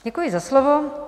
Děkuji za slovo.